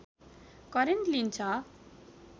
current लिन्छ